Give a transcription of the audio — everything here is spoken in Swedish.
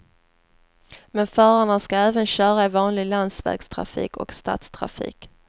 Men förarna ska även köra i vanlig landsvägstrafik och stadstrafik.